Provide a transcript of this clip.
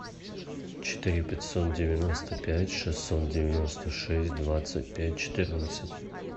четыре пятьсот девяносто пять шестьсот девяносто шесть двадцать пять четырнадцать